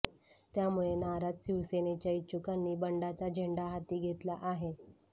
त्यामुळे नाराज शिवसेनेच्या इच्छुकांनी बंडाचा झेंडा हाती घेतला आहे